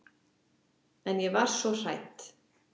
En ég var svo hrædd.